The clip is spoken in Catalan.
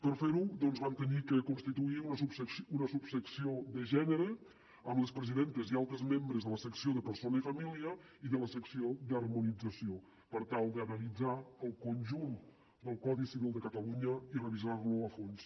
per fer ho doncs vam haver de constituir una subsecció de gènere amb les presidentes i altres membres de la secció de persona i família i de la secció d’harmonització per tal d’analitzar el conjunt del codi civil de catalunya i revisar lo a fons